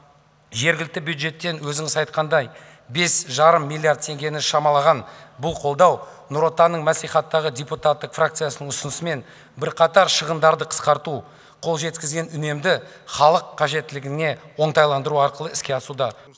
жергілікті бюджеттен өзіңіз айтқандай бес жарым миллиард теңгені шамалаған бұл қолдау нұр отанның маслихаттағы депутаты фракциясы ұсынысымен бірқатар шығындарды қысқарту қол жеткізген үнемді халық қажеттілігіне оңтайландыру арқылы іске асуда